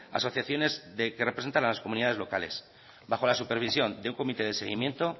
asociaciones que representan a comunidades locales bajo la supervisión de un comité de seguimiento